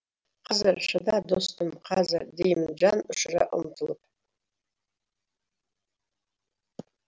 қазір шыда достым қазір деймін жан ұшыра ұмтылып